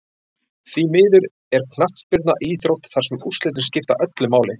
Því miður er knattspyrna íþrótt þar sem úrslitin skipta öllu máli.